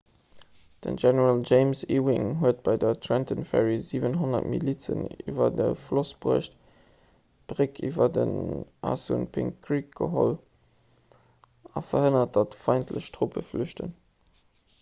den general james ewing huet bei trenton ferry 700 milizen iwwer de floss bruecht d'bréck iwwer den assunpink creek ageholl a verhënnert datt feindlech truppen flüchten